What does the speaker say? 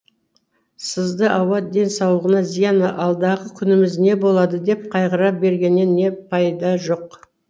сызды ауа денсаулығыңа зиян алдағы күніміз не болады деп қайғыра бергеннен пайда жоқ